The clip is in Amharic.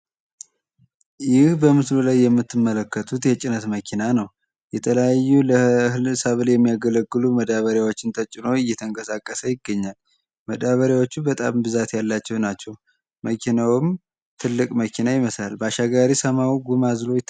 ይህ በምስሉ ላይ የምትመለከቱት የጭነት መኪና ነው። የተለያዩ ለህል ሰብል የሚያገለግሉ መዳበሪያችን ተጭኖ እየተንቀሳቀሰ ይገኛል። መዳበሪያዎቹ በጣም ብዛት ያላቸው ናቸው። መኪናውም ትልቅ መኪና ይመስላል። ባሻጋሪ ሰማዩ ጉም አዝሎ።